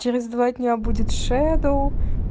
через два дня будет шедоу